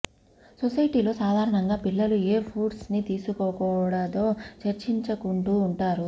సొసైటీలో సాధారణంగా పిల్లలు ఏ ఫుడ్స్ ని తీసుకోకూడదో చర్చించుకుంటూ ఉంటారు